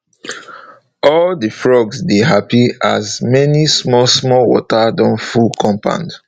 all the frog dey happy as many small small water don full compound